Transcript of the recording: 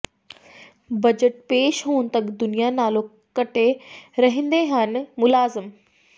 budget ਪੇਸ਼ ਹੋਣ ਤਕ ਦੁਨੀਆ ਨਾਲੋਂ ਕੱਟੇ ਰਹਿੰਦੇ ਹਨ ਮੁਲਾਜ਼ਮ